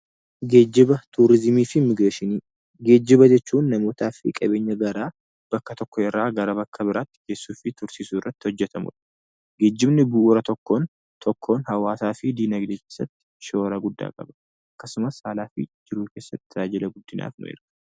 Geejjiba jechuun namootaa fi qabeenya garaa bakka tokko irraa gara bakka biraatti geessuu fi tursiisuu irratti hojjetamudha. Geejjibni bu'uura tokkoon tokkoon hawaasaa fi dinagdee keessatti shoora guddaa qaba. Akkasumas haala fi jiruu keessatti tajaajila guddinaaf oola.